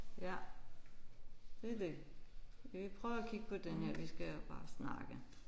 Ja det er det. Skal vi prøve at kigge på den her vi skal jo bare snakke